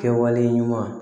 Kɛwale ɲuman